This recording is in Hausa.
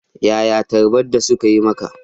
Yaya tarbar da suka yi maka?